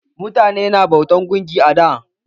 Mutane na bautan gunki a da.